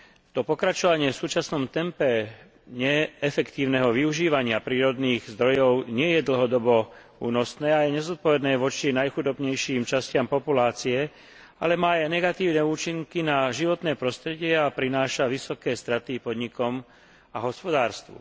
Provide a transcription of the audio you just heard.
To pokračovanie v súčasnom tempe neefektívneho využívania prírodných zdrojov nie je dlhodobo únosné a je nezodpovedné voči najchudobnejším častiam populácie, ale má aj negatívne účinky na životné prostredie a prináša vysoké straty podnikom a hospodárstvu.